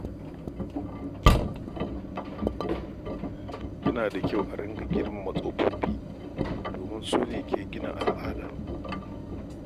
Yana da kyau ake girmama tsofaffi domin su ne ke gina al’ada.